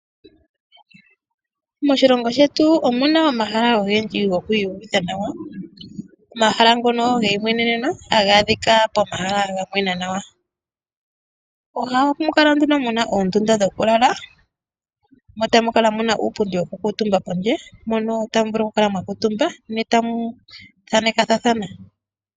Moshilongo shetu omuna omahala ogendji gokwii yuvitha nawa, omahala ngono geyi mweneneno, haga adhika pomahala ga mwena nawa. Ohamu kala nduno muna oondunda dhoku lala, mo tamu kala muna uupundi woku kuutumba pondje, mpono tamu vulu oku kala mwa kuutumba ne tamu thanekathana.